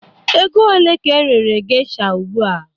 Ego ole ka erere geisha ugbu a?